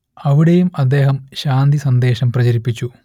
അവിടെയും അദ്ദേഹം ശാന്തി സന്ദേശം പ്രചരിപ്പിച്ചു